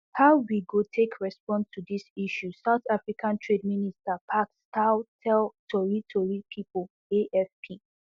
how we go take respond to dis issues south africa trade minister parks tau tell tori tori pipo afp